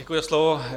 Děkuji za slovo.